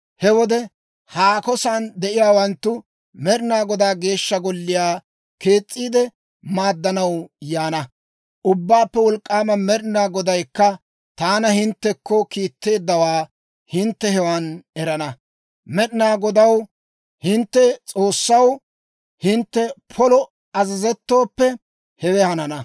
He wode haako san de'iyaawanttu Med'inaa Godaa Geeshsha Golliyaa kees's'iide maaddanaw yaana. Ubbaappe Wolk'k'aama Med'inaa Godaykka taana hinttekko kiitteeddawaa hintte hewan erana. Med'inaa Godaw, hintte S'oossaw, hintte polo azazettooppe, hewe hanana.